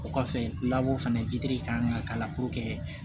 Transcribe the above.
O kɔfɛ fana kan ka k'a la